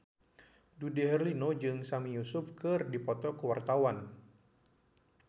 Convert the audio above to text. Dude Herlino jeung Sami Yusuf keur dipoto ku wartawan